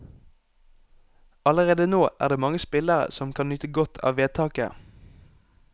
Allerede nå er det mange spillere som kan nyte godt av vedtaket.